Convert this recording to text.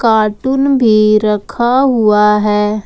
Cartoon भी रखा हुआ है।